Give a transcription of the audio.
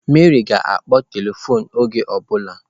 Mary ga-akpọ telifon oge ọ bụla.